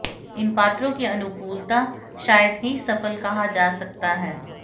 इन पात्रों की अनुकूलता शायद ही सफल कहा जा सकता है